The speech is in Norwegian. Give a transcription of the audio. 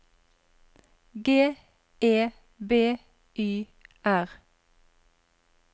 G E B Y R